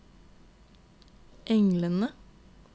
englene